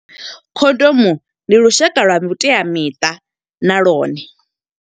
Khondomu ndi lushaka lwa vhuteamiṱa na lwone.